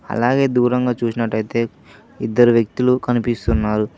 అలాగే దూరంగా చూసినట్లయితే ఇద్దరు వ్యక్తులు కనిపిస్తున్నారు.